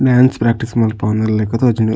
Dance practice ಮನ್ಪವೊಂದಿಲಕ ತೋಜೊಂಡು.